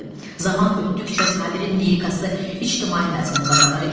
Zaman ötdükcə Sabirin lirikası ictimai məzmun qazanır.